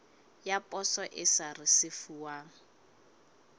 ya poso e sa risefuwang